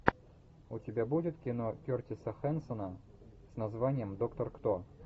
у тебя будет кино кертиса хэнсона с названием доктор кто